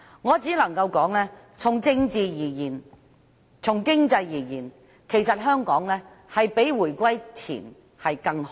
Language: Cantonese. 我只能說，從政治及經濟而言，其實香港比回歸前更好。